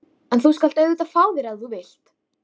Hefur hann ekki einatt litið á sig sem lækni?